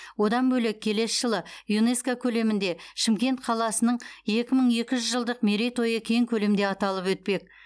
одан бөлек келесі жылы юнеско көлемінде шымкент қаласының екі мың екі жүз жылдық мерейтойы кең көлемде аталып өтпек